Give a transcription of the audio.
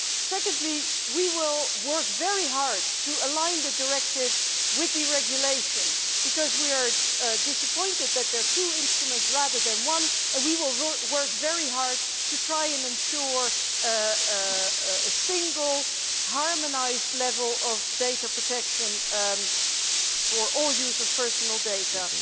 Secondly, we will work very hard to align the directive with the regulation because we are disappointed that there are two instruments rather than one and we will work very hard to try and ensure a single harmonised level of data protection for all use of personal data.